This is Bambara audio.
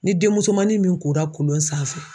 Ni denmuso manin min kora kolon sanfɛ